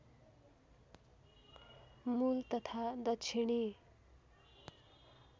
मुल तथा दक्षिणी